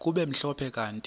kube mhlophe kanti